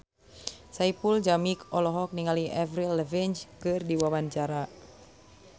Saipul Jamil olohok ningali Avril Lavigne keur diwawancara